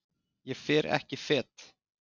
Ég fer ekki fet.